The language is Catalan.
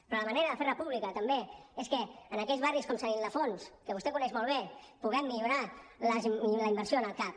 però la manera de fer república també és que en aquells barris com sant ildefons que vostè coneix molt bé puguem millorar la inversió en el cap